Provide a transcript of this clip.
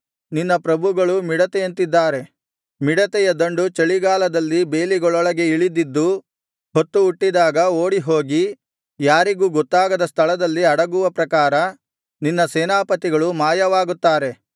ನಿನ್ನ ಪ್ರಭುಗಳು ಮಿಡತೆಯಂತಿದ್ದಾರೆ ಮಿಡತೆಯ ದಂಡು ಚಳಿಗಾಲದಲ್ಲಿ ಬೇಲಿಗಳೊಳಗೆ ಇಳಿದಿದ್ದು ಹೊತ್ತು ಹುಟ್ಟಿದಾಗ ಓಡಿಹೋಗಿ ಯಾರಿಗೂ ಗೊತ್ತಾಗದ ಸ್ಥಳದಲ್ಲಿ ಅಡಗುವ ಪ್ರಕಾರ ನಿನ್ನ ಸೇನಾಪತಿಗಳು ಮಾಯವಾಗುತ್ತಾರೆ